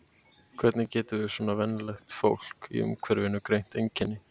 Hvernig getum við svona venjulegt fólk í umhverfinu greint einkenni?